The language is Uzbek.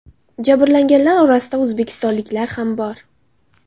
Jabrlanganlar orasida o‘zbekistonliklar ham bor.